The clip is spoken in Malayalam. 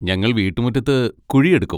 ഞങ്ങൾ വീട്ടുമുറ്റത്ത് കുഴിയെടുക്കും.